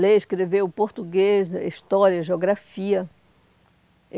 Ler, escrever, o português, história, geografia.